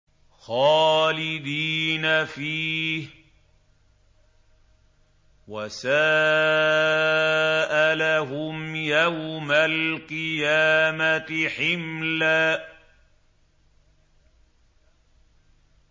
خَالِدِينَ فِيهِ ۖ وَسَاءَ لَهُمْ يَوْمَ الْقِيَامَةِ حِمْلًا